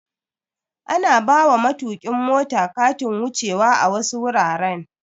Ana bawa matokin mota Katin wuce wa a wasu wuraren